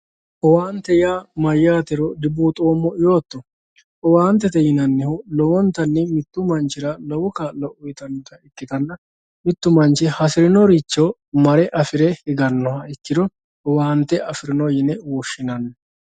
owaante yaa mayyatero dibuuxoommo yooto owaantete yinanihu lowontanni mittu manchira low kaa'lo uyiitannota ikkitanna mittu manchi hasirinoricho mare afire higannoha ikkire owaante afirino yine woshshinanni.